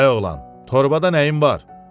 Ay oğlan, torbada nəyin var?